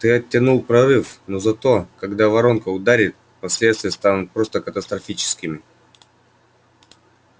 ты оттянул прорыв но зато когда воронка ударит последствия станут просто катастрофическими